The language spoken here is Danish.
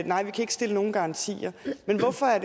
nej vi kan ikke stille nogen garantier men hvorfor er